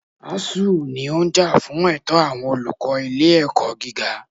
ASUU ní ó ń jà fún ẹ̀tọ́ àwọn olùkọ́ ilé ẹ̀kọ́ gíga.